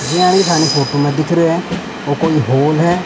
ज्यान ही थानी फोटो में दिख रिये है ओ कोई हॉल है।